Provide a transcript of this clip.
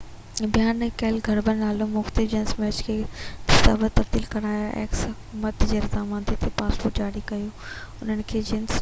حڪومت جي رضامندي آهي تہ پاسپورٽ جاري ڪيو انهن کي جنهن جنس x بيان نہ ڪئي يا گهربل نالو ۽ مختلف جنس ميچ ڪرڻ لاءِ دستاويز تبديل ڪرايا